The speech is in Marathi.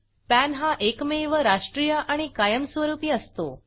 पॅन हा एकमेव राष्ट्रीय आणि कायमस्वरूपी असतो